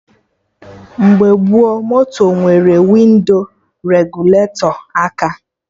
Mgbe gboo, moto nwere windo regụletọ aka